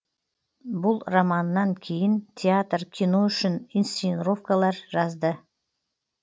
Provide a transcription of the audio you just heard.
бұл романынан кейін театр кино үшін инсценаровкалар жазды